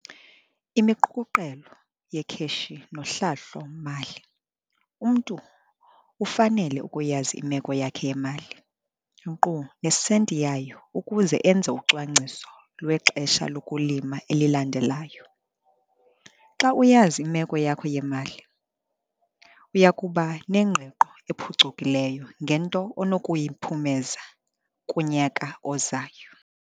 Imiqukuqelo yekheshi nohlahlo-mali - umntu ufanele ukuyazi imeko yakhe yemali, nkqu nesenti yayo ukuze enze ucwangciselo lwexesha lokulima elilandelayo. Xa uyazi imeko yakho yemali, uya kuba nengqiqo ephucukileyo ngento onokuyiphumeza kunyaka ozayo.